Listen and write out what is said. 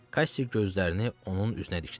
Kassi gözlərini onun üzünə dikdi.